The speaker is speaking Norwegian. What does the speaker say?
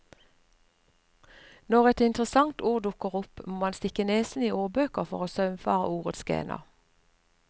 Når et interessant ord dukker opp, må han stikke nesen i ordbøker for å saumfare ordets gener.